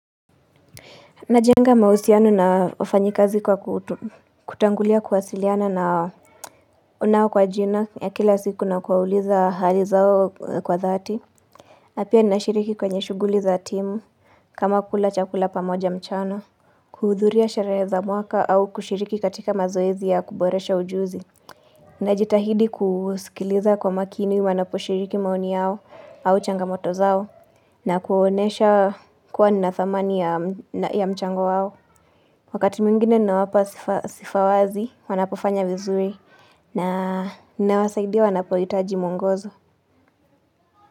Najenga mahusiano na wafanyikazi kwa kutangulia kuwasiliana na nao kwa jina ya kila siku na kuwauliza hali zao kwa dhati. nA pia nashiriki kwenye shughuli za timu kama kula chakula pamoja mchana. Kuhudhuria sherehe za mwaka au kushiriki katika mazoezi ya kuboresha ujuzi. Najitahidi kusikiliza kwa makini wanaposhiriki maoni yao au changamoto zao na kuwaonyesha kuwa nathamani ya mchango wao. Wakati mwingine nawapa sifa wazi, wanapofanya vizuri na ninawasaidia wanapohitaji mwongozo.